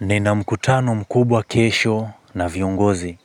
Nina mkutano mkubwa kesho na viongozi.